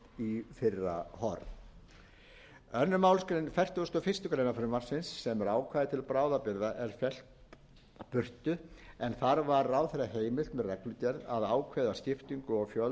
í fyrra horf annarri málsgrein fertugustu og fyrstu grein frumvarpsins sem er ákvæði til bráðabirgða er fellt burtu en þar var ráðherra heimilt með reglugerð að ákveða skiptingu og fjölda umdæma samkvæmt elleftu grein